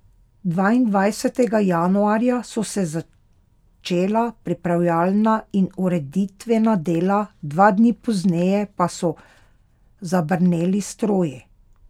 Dvaindvajsetega januarja so se začela pripravljalna in ureditvena dela, dva dni pozneje pa so zabrneli stroji.